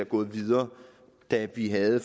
gået videre da vi havde